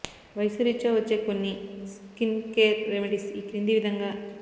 వయస్సురీత్యా వచ్చే కొన్ని skin care remedies ఈ క్రింది విధంగా